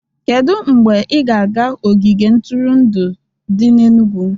Kedu mgbe ị ga-aga ogige ntụrụndụ dị n'Enugwu